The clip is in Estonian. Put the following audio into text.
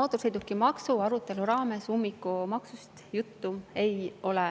Mootorsõidukimaksu arutelu raames ummikumaksust juttu ei ole